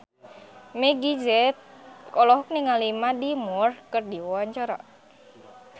Meggie Z olohok ningali Mandy Moore keur diwawancara